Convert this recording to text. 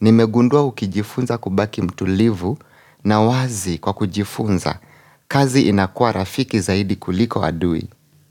Nimegundua ukijifunza kubaki mtulivu na wazi kwa kujifunza, kazi inakua rafiki zaidi kuliko adui.